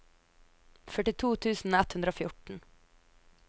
førtito tusen ett hundre og fjorten